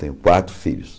Tenho quatro filhos.